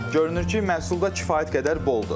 Görünür ki, məhsulda kifayət qədər boldur.